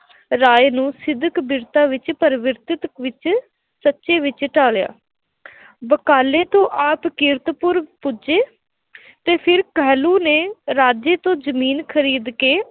ਰਾਏ ਨੂੰ ਸਿਦਕ ਵਿਰਤਾ ਵਿੱਚ ਪ੍ਰਵਿਰਤਤ ਵਿੱਚ ਵਿੱਚ ਢਾਲਿਆ ਬਕਾਲੇ ਤੋਂ ਆਪ ਕੀਰਤਪੁਰ ਪੁੱਜੇ ਅਤੇ ਫਿਰ ਕਹਿਲੂਰ ਨੇ ਰਾਜੇ ਤੋਂ ਜ਼ਮੀਨ ਖਰੀਦ ਕੇ